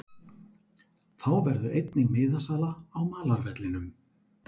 Þá verður einnig miðasala á malarvellinum.